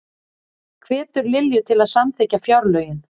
Hvetur Lilju til að samþykkja fjárlögin